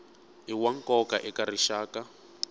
i wa nkoka eka rixaka